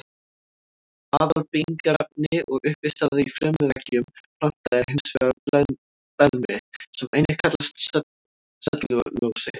Aðalbyggingarefni og uppistaða í frumuveggjum planta er hins vegar beðmi sem einnig kallast sellulósi.